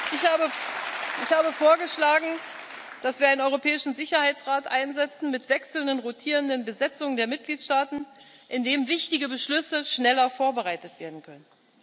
Ich habe vorgeschlagen, dass wir einen europäischen Sicherheitsrat einsetzen mit wechselnden rotierenden Besetzungen der Mitgliedstaaten, in dem wichtige Beschlüsse schneller vorbereitet werden können.